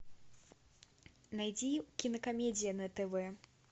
найди кинокомедии на тв